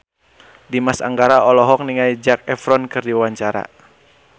Dimas Anggara olohok ningali Zac Efron keur diwawancara